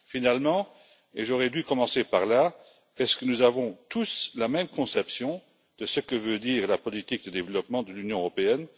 Enfin et j'aurais dû commencer par là avons nous tous la même conception de ce que veut dire la politique de développement de l'Union européenne?